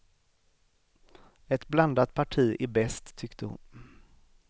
Ett blandat parti är bäst, tyckte hon.